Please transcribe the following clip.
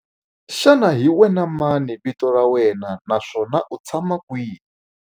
Xana hi wena mani vito ra wena naswona u tshama kwihi?